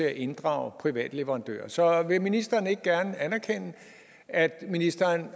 at inddrage private leverandører så vil ministeren ikke gerne anerkende at ministeren